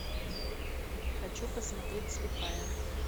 хочу посмотреть слепая